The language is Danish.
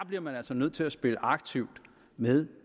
bliver man altså nødt til at spille aktivt med